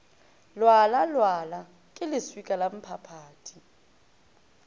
lwala lwala ke leswika lamphaphathi